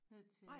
Ned til